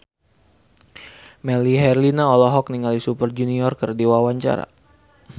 Melly Herlina olohok ningali Super Junior keur diwawancara